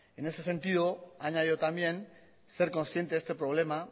en ese sentido ha añadido también ser consciente de este problema